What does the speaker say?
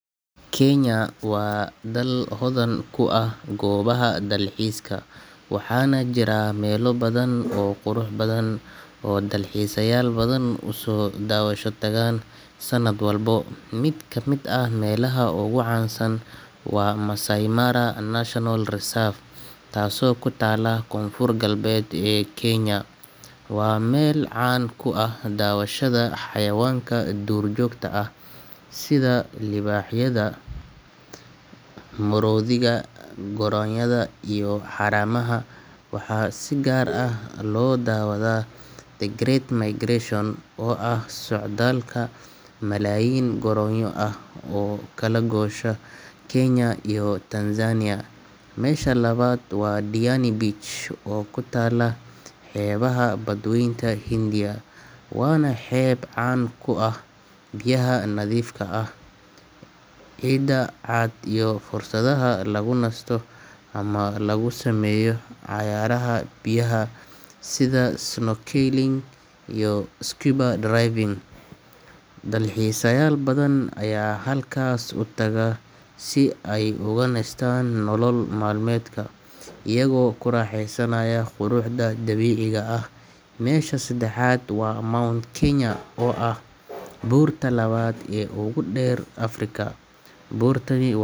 Kenya waa dal hodan ku ah goobaha dalxiiska, waxaana jira meelo badan oo qurux badan oo dalxiisayaal badan u soo daawasho tagaan sanad walba. Mid ka mid ah meelaha ugu caansan waa Maasai Mara National Reserve, taasoo ku taalla koonfur-galbeed ee Kenya. Waa meel caan ku ah daawashada xayawaanka duurjoogta ah sida libaaxyada, maroodiyada, goronyada iyo haramaha. Waxaa si gaar ah loo daawadaa The Great Migration oo ah socdaalka malaayiin goronyo ah oo u kala goosha Kenya iyo Tanzania. Meesha labaad waa Diani Beach, oo ku taalla xeebaha Badweynta Hindiya, waana xeeb caan ku ah biyaha nadiifka ah, ciidda cad iyo fursadaha lagu nasto ama lagu sameeyo cayaaraha biyaha sida snorkeling iyo scuba diving. Dalxiisayaal badan ayaa halkaas u taga si ay uga nastaan nolol maalmeedka, iyagoo ku raaxaysanaya quruxda dabiiciga ah. Meesha saddexaad waa Mount Kenya, oo ah buurta labaad ee ugu dheer Afrika. Buurtani.